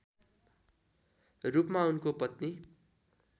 रूपमा उनको पत्नी